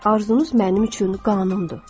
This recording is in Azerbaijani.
Arzunuz mənim üçün qanunumdur.